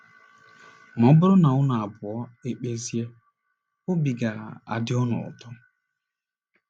Ma ọ bụrụ na unu abụọ ekpezie, obi ga - adị unu ụtọ.